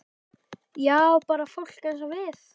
Já, bara fólk eins og við.